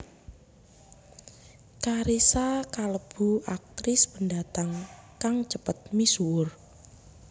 Carissa kalebu aktris pendatang kang cepet misuwur